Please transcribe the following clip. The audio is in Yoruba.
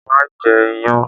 Má jẹ iyán!